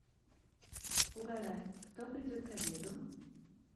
угадай кто придет к обеду